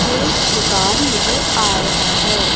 एक दुकान नजर आ रहा हैं।